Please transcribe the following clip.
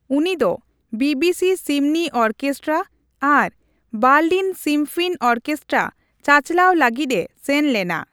ᱩᱱᱤ ᱫᱚ BBC symphony orchestra ᱟᱨ ᱵᱟᱨᱞᱤᱱ ᱥᱤᱢᱯᱷᱱᱤ ᱚᱨᱠᱮᱥᱴᱨᱟ ᱪᱟᱪᱞᱟᱣ ᱞᱟᱹᱜᱤᱫ ᱮ ᱥᱮᱱ ᱞᱮᱱᱟ ᱾